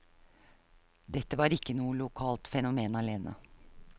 Dette var ikke noe lokalt fenomen alene.